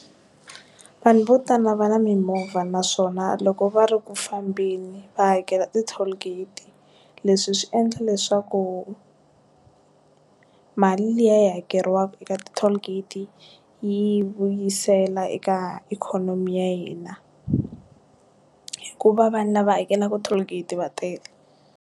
Vanhu vo tala va na mimovha naswona loko va ri ku fambeni va hakela ti toll gate leswi swi endla leswaku mali liya yi hakeriwaku ka ti toll gate yi vuyisela eka ikhonomi ya hina hikuva vanhu lava hakelaku toll gate va tele.